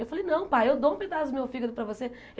Eu falei, não pai, eu dou um pedaço do meu fígado para você.